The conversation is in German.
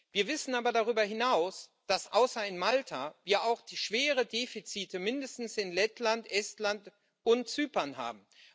Wir wissen aber darüber hinaus, dass außer in Malta wir auch schwere Defizite mindestens in Lettland, Estland und Zypern haben.